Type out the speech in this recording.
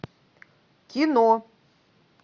кино